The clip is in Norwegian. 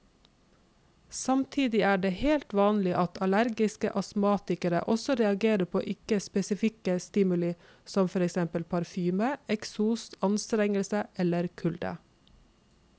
Samtidig er det helt vanlig at allergiske astmatikere også reagerer på ikke spesifikke stimuli som for eksempel parfyme, eksos, anstrengelse eller kulde.